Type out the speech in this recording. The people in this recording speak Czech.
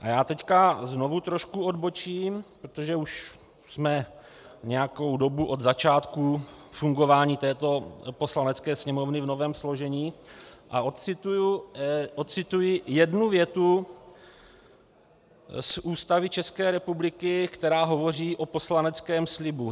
A já teď znovu trošku odbočím, protože už jsme nějakou dobu od začátku fungování této Poslanecké sněmovny v novém složení, a ocituji jednu větu z Ústavy České republiky, která hovoří o poslaneckém slibu.